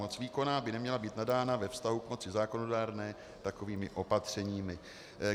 Moc výkonná by neměla být nadána ve vztahu k moci zákonodárné takovými opatřeními.